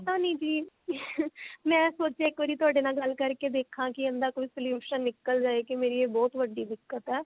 ਪਤਾ ਨਹੀਂ ਜੀ ਮੈਂ ਸੋਚਿਆ ਇੱਕ ਵਾਰੀ ਤੁਹਾਡੇ ਨਾਲ ਗੱਲ ਕਰਕੇ ਦੇਖਾ ਕਿ ਇਹਦਾ ਕੋਈ solution ਨਿਕਲ ਜਾਏ ਕਿ ਮੇਰੀ ਇਹ ਬਹੁਤ ਵੱਡੀ ਦਿੱਕਤ ਹੈ